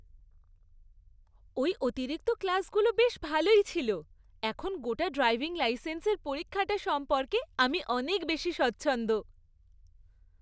ওই অতিরিক্ত ক্লাসগুলো বেশ ভালোই ছিল! এখন গোটা ড্রাইভিং লাইসেন্সের পরীক্ষাটা সম্পর্কে আমি অনেক বেশি স্বচ্ছন্দ।